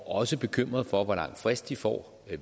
også bekymrede for hvor lang frist de får